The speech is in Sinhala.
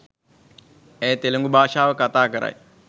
ඇය තෙළිඟු භාෂාව කථා කරයි